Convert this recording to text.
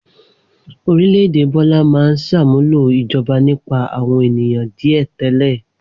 Orílẹ̀-èdè Bọ́lá máa ń ṣàmúlò ìjọba nípa àwọn ènìyàn díẹ̀ tẹ́lẹ̀.